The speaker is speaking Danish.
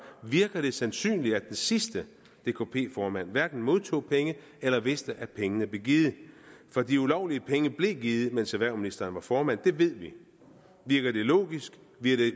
virker det sandsynligt at den sidste dkp formand hverken modtog penge eller vidste at pengene blev givet for de ulovlige penge blev givet mens erhvervsministeren var formand det ved vi virker det logisk virker det